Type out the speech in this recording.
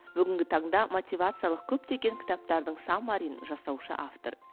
бүгінгі таңда мотивациялық көптеген кітаптардың саммарин жасаушы автор